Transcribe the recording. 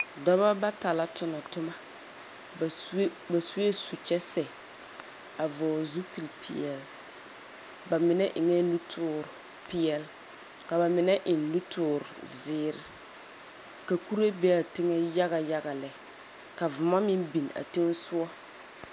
Dɔbɔ bata la tona toma, ba sue su-kyɛ-sɛ a vɔɔl zupilpeɛl. Ba menɛ eŋɛɛ nutoor peɛl, ka ba menɛ eŋ nutoor zeer. Ka kure be'a teŋɛ yagayaga lɛ, ka vomɔ meŋ biŋ a teŋɛsogɔ.